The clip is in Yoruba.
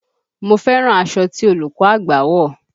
Mo fẹ́ràn aṣọ ti olùkọ́ àgba wọ̀